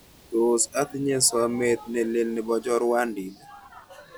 Tos' atinye somet nelel ne po chorwonditii